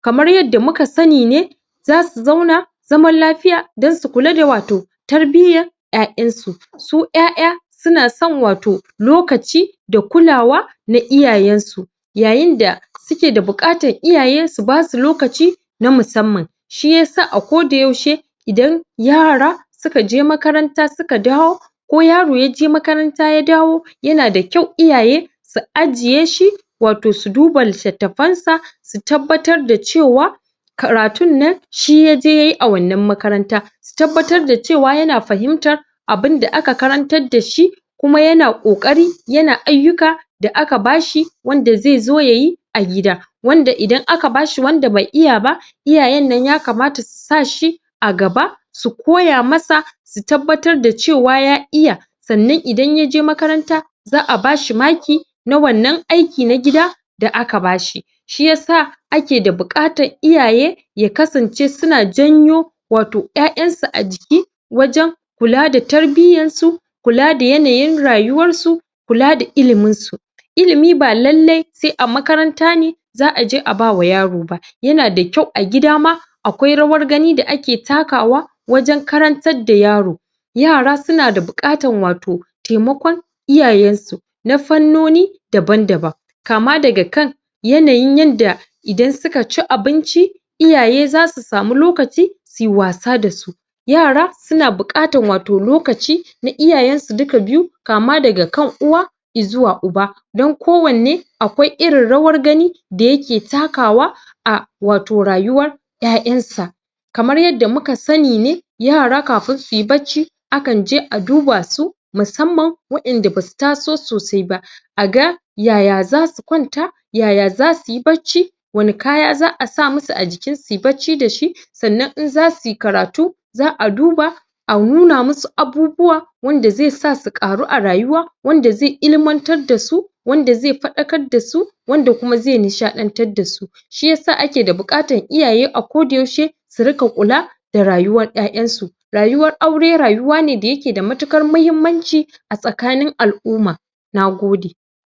kamar yanda muka sani ne za su zauna zaman lafiya don su kula da wato tarbiyyar ƴaƴansu su ƴaƴa suna son wato lokaci da kulawa na iayayensu yayinda suke da buƙatan iyaye su basu lokaci na musamman shiyasa a koda yaushe idan yara sukaje makaranta suka dawo ko yaro ya je makaranta ya dawo yana da kyau iyaye su ajiyeshi wato su duba littafansa su tabbatar da cewa karatunnan shi ya je yayi a wanna makaranta su tabbatar da cewa yana fahimtar abunda aka karantar dashi kuma yana ƙoƙari yana ayyuka da aka bashi wanda zai zo yayi a gida wanda idan aka bashi wanda bai iya ba iyayennan yakamata su sashi a gaba su koya masa su tabbatar da cewa ya iya sannan ida ya je makaranta za a bashi maki na wannan aiki na gida da aka bashi shi yasa ake da buƙatan iyaye ya kasance suna janyo wato ƴaƴansu a jiki wajen kula da tarbiyyansu kula da ayanayin rayuwarsu kula da iliminsu ilimi ba lallai sai a makaranta ne za a je a ba wa yaro ba yana da kyau a gida ma akwai rawar gani da ake takawa wajen karantar da yaro yara suna da buƙatan wato taimakon iyayensu na fannoni daban-daban kama daga kan yanayin yanda idan sukaci abinci iyaye za su samu lokaci su yiwasa da su yara suna buƙatan wato lokaci na iyayensu duka biyu kqama daga kan uwa izuwa uba dan kowanne akwai irin rawar gani da yake takawa a wato rayuwar ƴaƴansa kamar yanda muka sani ne yara kafin su yi bacci kan je a duba su musamman wa'inda ba su taso sosai ba a ga yaya za su kwanta yaya za suyi bacci wani kaya za a sa musu a jikinsu suyi bacci da shi sannan in za su yi karatu za a duba a nuna musu abubuwa wanda zai sa su ƙaru a rayuwa wanda zai ilmantar da su wanda zai faɗakar da su wanda kuma zai nishaɗantar dasu shiyasa ake da buƙatan iyaye akoda yaushe su riƙa kula da rayuwar ƴaƴansu rayuwar aure rayuwa ne da yake da matuƙar mahimmanci a tsakanin al'umma na gode.